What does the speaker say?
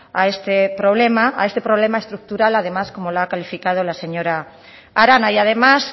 a este problema a este problema estructural además como lo ha calificado la señora arana y además